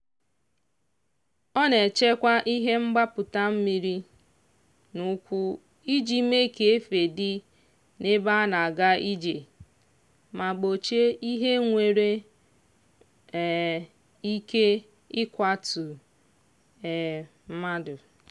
ọ na-echekwa ihe mgbapụta mmiri n'ukwu iji mee ka efe dị n'ebe a na-aga ije ma gbochie ihe nwere um ike ịkwatụ um mmadụ.